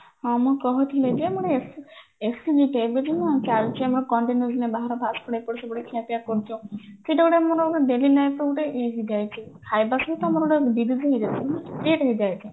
ହଁ ମୁଁ କହୁଥିଲି ଯେ ଆମର ଏବେ ଯୋଉ ଆମର ଚାଲିଛି continuously ବାହାର fast food ଏପଟ ସେପଟ ଖିଆ ପିଆ କରୁଛେ ସେଇଟା ଗୋଟେ ଆମର daily life ର ଗୋଟେ ଖାଇବା ସହିତ ଆମର disease ବି ହେଇଯାଉଛି